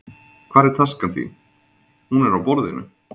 Hvar er taskan þín. Hún er á borðinu